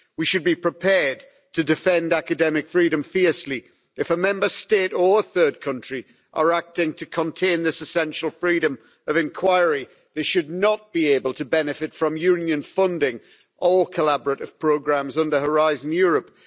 We should be prepared to defend academic freedom fiercely. If a Member State or third country are acting to contain this essential freedom of inquiry then they should not be able to benefit from Union funding or collaborative programmes under Horizon Europe.